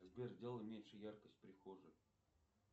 сбер сделай меньше яркость в прихожей